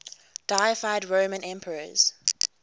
deified roman emperors